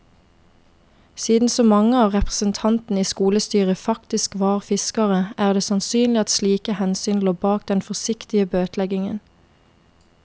Siden så mange av representantene i skolestyret faktisk var fiskere, er det sannsynlig at slike hensyn lå bak den forsiktige bøteleggingen.